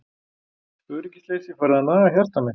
Öryggisleysið farið að naga hjarta mitt.